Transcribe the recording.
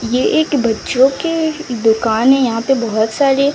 ये एक बच्चों की दुकान है यहां पे बहुत सारे--